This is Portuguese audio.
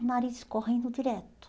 O nariz correndo direto.